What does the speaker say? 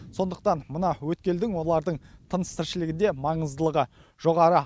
сондықтан мына өткелдің олардың тыныс тіршілігінде маңыздылығы жоғары